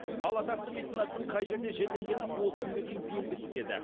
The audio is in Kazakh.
ал атақты меценаттың қай жерде жерленгені осы күнге дейін белгісіз еді